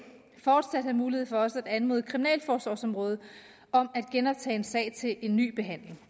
fortsat have mulighed for også at anmode kriminalforsorgsområdet om at genoptage en sag til en ny behandling